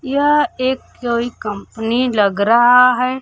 यह एक कोई कंपनी लग रहा है।